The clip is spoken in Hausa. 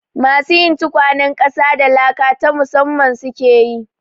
Masu yin tukwanen ƙasa da laka ta musamman su ke yi.